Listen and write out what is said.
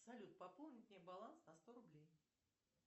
салют пополнить мне баланс на сто рублей